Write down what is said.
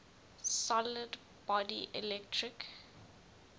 solid body electric